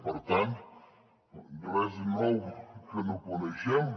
per tant res nou que no coneguem